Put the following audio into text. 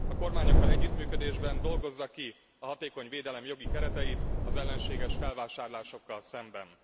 A kormányokkal együttműködésben dolgozza ki a hatékony védelem jogi kereteit az ellenséges felvásárlásokkal szemben.